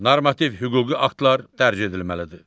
Normativ hüquqi aktlar dərc edilməlidir.